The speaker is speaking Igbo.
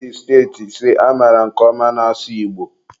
ọ dị steeti ise amaara nke ọma na-asụ Igbo